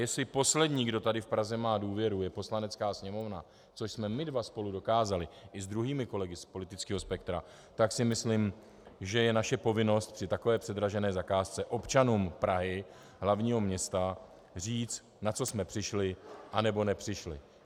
Jestli poslední, kdo tady v Praze má důvěru, je Poslanecká sněmovna, což jsme my dva spolu dokázali i s druhými kolegy z politického spektra, tak si myslím, že je naše povinnost při takové předražené zakázce občanům Prahy, hlavního města, říct, na co jsme přišli, anebo nepřišli.